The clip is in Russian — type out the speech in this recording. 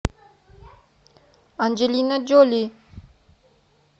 анджелина джоли